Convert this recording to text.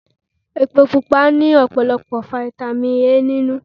Epo Pupa ní ọ̀pọ̀lọpọ̀ Fáítámì A nínú.